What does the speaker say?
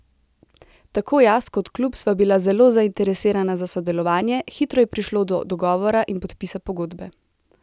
Tako jaz kot klub sva bila zelo zainteresirana za sodelovanje, hitro je prišlo do dogovora in podpisa pogodbe.